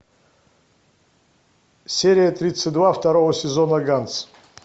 серия тридцать два второго сезона ганс